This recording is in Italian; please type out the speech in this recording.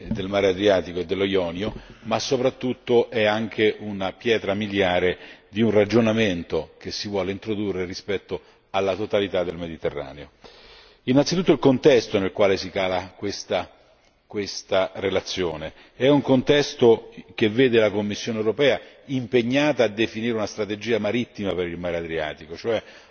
del mar Adriatico e del mar Ionio, ma soprattutto rappresenta una pietra miliare di un ragionamento che si vuole introdurre rispetto alla totalità del Mediterraneo. Innanzitutto il contesto nel quale questa relazione si cala, è un contesto che vede la Commissione europea impegnata a definire una strategia marittima per il Mar Adriatico e cioè